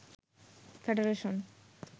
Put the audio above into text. federation